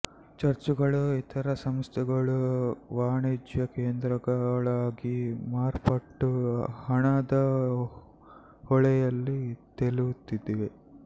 ಚರ್ಚುಗಳೂ ಇತರ ಸಂಸ್ಥೆಗಳೂ ವಾಣಿಜ್ಯಕೇಂದ್ರಗಳಾಗಿ ಮಾರ್ಪಟ್ಟು ಹಣದ ಹೊಳೆಯಲ್ಲಿ ತೇಲುತ್ತಿವೆ